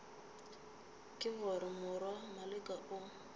ke gore morwa maleka o